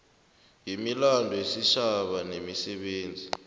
wemilando yesitjhaba nemisebenzi